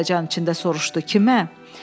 Monks həyəcan içində soruşdu: “Kimə?”